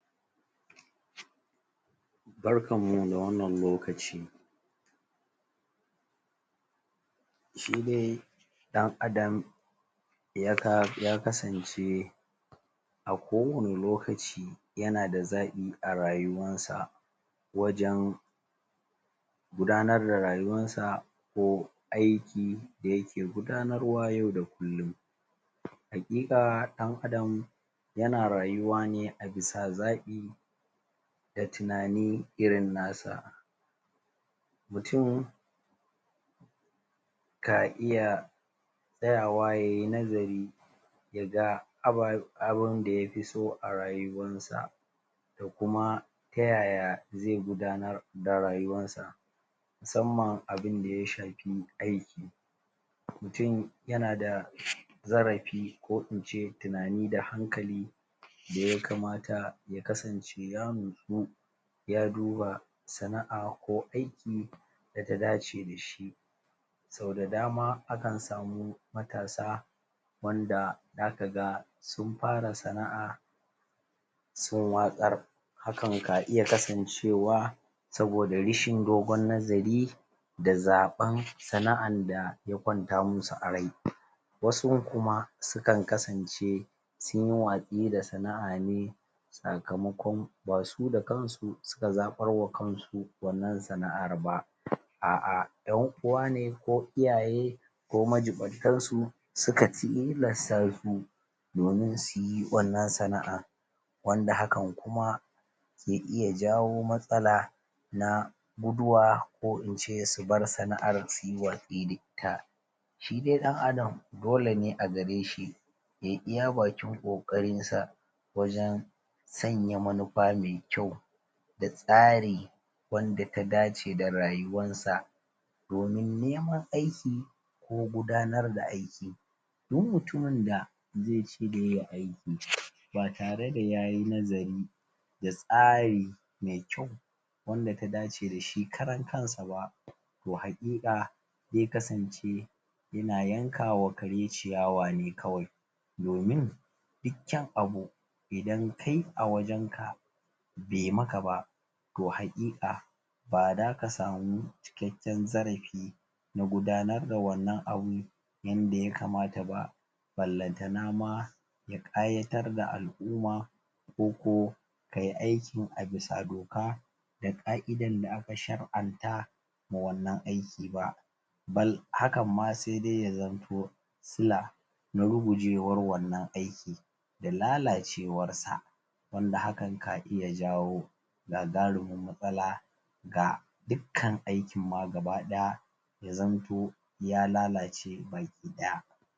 Barkan mu da wannan lokaci shi de ɗan Adam ya kasance a kowane lokaci yana da zaɓi a rayuwansa wajen gudanar da rayuwansa ko aiki da yake gudanarwa yau da kullum haƙiƙa ɗan Adam yana rayuwa ne a bisa zaɓi da tunani irin nasa mutum ka iya tsayawa ya yi nazari ya ga abin da ya fi so a rayuwansa da kuma kuma ta ya ya ze gudanar da rayuwansa musamman abin da ya shafi aiki mutum yana da zarafi ko in ce tunani da hankali da ya kamata ya kasance ya nutsu ya duba sana'a ko aiki da ta dace sau da dama akan samu matasa wanda zaka ga matasa sun fara Sana'a sun watsar hakan na iya kasan cewa saboda rashin dogon nazari da zaben Sana'ar da ya kwanta masu a rai wasu kuma su kan kasance sunyi wasu da sana'a ne sakamakon basu da kansu suka zabar ma kansu sana'ar ba a'a yan uwane ko iyaye ko majibantasu suka tilasta su domin suyi wannan sana'ar wanda hakan kuma ya ke jawo matsala na guduwa ko in ce subar sana'ar suyi wasti da ita. Shi dai dan Adam dole ne a gareshi yai iya bakin kokarin sa wajen sanya manufa da tsari wanda ya dace da rayuwar sa domin neman aiki ko gudanar da aiki ba tare da yayi nazari da tsari wanda ya dace dashi karan kan shi ba toh hakika sai kasance ya na yanka ma kare ciyawa ne kawai domin duk kyaun abu a wirin ka be maka ba toh hakika baza ka samu cikakken zarafi ba na gudanar da wannan abu yanda ya kamata ba ballanta Nama ya kayatar da alumma ko ko kai aiki a bisa duka ka idan da aka shar anta na iya za jawo gagarumin matsala ga dukan aikin ma ya lallace baki daya ba